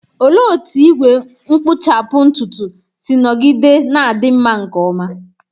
Olee otú igwe nkpuchapu ntutu si nọgide na-adị mma nke ọma?